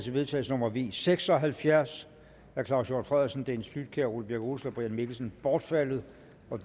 vedtagelse nummer v seks og halvfjerds af claus hjort frederiksen dennis flydtkjær ole birk olesen og brian mikkelsen bortfaldet